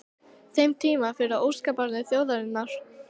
þeim tíma fyrir óskabarn þjóðarinnar?